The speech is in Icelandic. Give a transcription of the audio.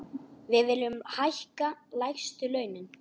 Við viljum hækka lægstu launin.